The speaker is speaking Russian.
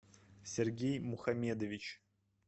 сергей мухамедович